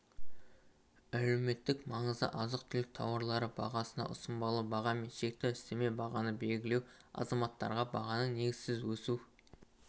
әлеуметтік маңызды азық-түлік тауарлары бағасына ұсынбалы баға мен шекті үстеме бағаны белгілеу азаматтарға бағаның негізсіз өсу